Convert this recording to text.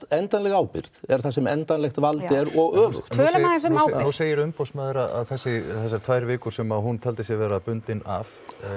endanleg ábyrgð er þar sem endanlegt vald er og öfugt þá segir umboðsmaður að þessar tvær vikur sem hún taldi sig vera bundin af